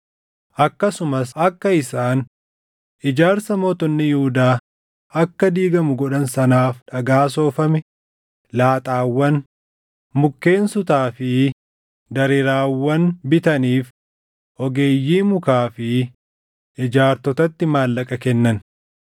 Akkasumas akka isaan ijaarsa mootonni Yihuudaa akka diigamu godhan sanaaf dhagaa soofame, laaxaawwan, mukkeen sutaa fi dareeraawwan bitaniif ogeeyyii mukaa fi ijaartotatti maallaqa kennan.